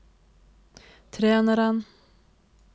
treneren